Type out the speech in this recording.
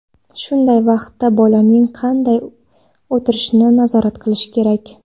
Shunday vaqtda bolaning qanday o‘tirishini nazorat qilish kerak.